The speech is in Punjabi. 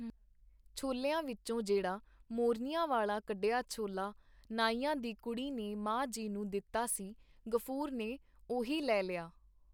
ਝੋਲਿਆਂ ਵਿੱਚੋਂ ਜਿਹੜਾ ਮੋਰਨੀਆਂ ਵਾਲਾ ਕੱਢਿਆ ਝੋਲਾ ਨਾਈਆਂ ਦੀ ਕੁੜੀ ਨੇ ਮਾਂ ਜੀ ਨੂੰ ਦਿੱਤਾ ਸੀ ਗ਼ਫੂਰ ਨੇ ਉਹੀ ਲੈ ਲਿਆ.